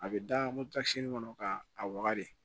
A bɛ da moto ta kɔnɔ ka a waga de